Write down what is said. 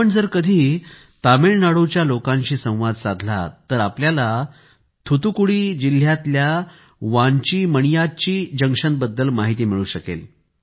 आपण जर कधी तामिळनाडूच्या लोकांशी संवाद साधला तर आपल्याला थुथुकुडी जिल्हयातल्या वान्ची मणियाच्ची जंक्शन बद्दल माहिती मिळू शकेल